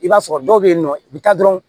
I b'a sɔrɔ dɔw bɛ yen nɔ i bɛ taa dɔrɔn